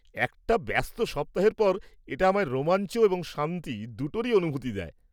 -একটা ব্যস্ত সপ্তাহের পর এটা আমায় রোমাঞ্চ এবং শান্তি দুটোরই অনুভূতি দেয়।